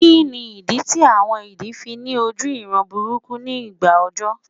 Kíni ìdí tí àwọn idì fi ní oju ìran búburú nigba ọjọ